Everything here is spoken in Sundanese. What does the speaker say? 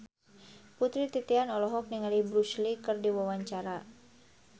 Putri Titian olohok ningali Bruce Lee keur diwawancara